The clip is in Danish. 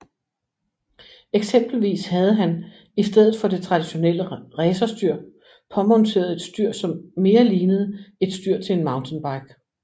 Eksempelvis havde han i stedet for det traditionelle racerstyr påmonteret et styr som mere lignede et styr til en mountainbike